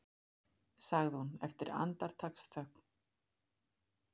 sagði hún eftir andartaksþögn.